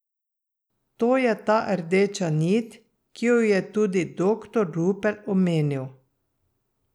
To je ta rdeča nit, ki jo je tudi doktor Rupel omenil.